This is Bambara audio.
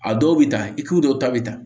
A dɔw bɛ ta i t'u dɔw ta bɛ ta